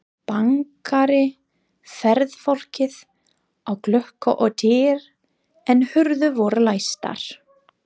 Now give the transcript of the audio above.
Bankaði ferðafólkið á glugga og dyr, en hurðir voru læstar.